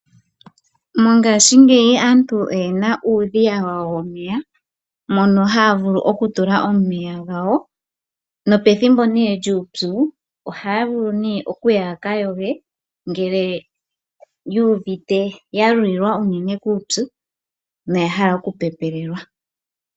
Mongaashi ngeyi aantu oyena uudhiya wawo womeya mono haya vulu oku tula omeya gawo. Nopethimbo lyuupu ohaya vulu okuya yaka yoge ngele ya lulilwa unene kuupyu noya hala oku pepelelwa.